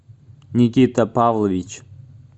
никита павлович